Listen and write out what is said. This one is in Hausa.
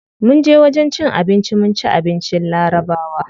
Munje wajen cin abinci mun ci abincin larabawa.